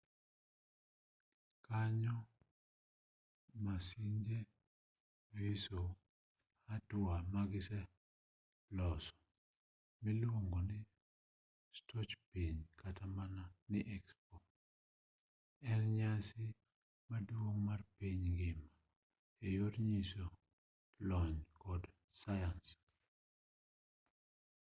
kanyo mapinje nyiso hatua magiseloso miluongo ni stoch piny kata mana ni expo en nyasi maduong' mar piny ngima eyor nyiso lony kod sayans